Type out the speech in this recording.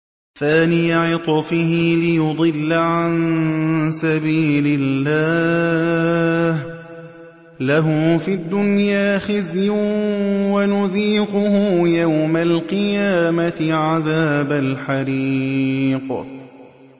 ثَانِيَ عِطْفِهِ لِيُضِلَّ عَن سَبِيلِ اللَّهِ ۖ لَهُ فِي الدُّنْيَا خِزْيٌ ۖ وَنُذِيقُهُ يَوْمَ الْقِيَامَةِ عَذَابَ الْحَرِيقِ